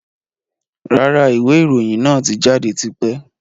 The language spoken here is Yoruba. Rárá, ìwé ìròyìn náà tí jáde tipẹ́.